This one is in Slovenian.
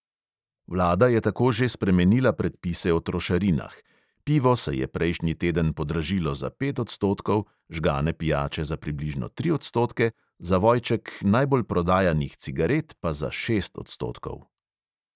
Vlada je tako že spremenila predpise o trošarinah; pivo se je prejšnji teden podražilo za pet odstotkov, žgane pijače za približno tri odstotke, zavojček najbolj prodajanih cigaret pa za šest odstotkov.